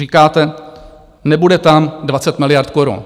Říkáte - nebude tam 20 miliard korun.